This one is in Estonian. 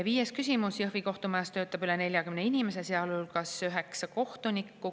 Viies küsimus: "Jõhvi kohtumajas töötab üle 40 inimese, sealhulgas üheksa kohtunikku.